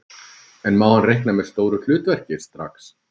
En má hann reikna með stóru hlutverki strax?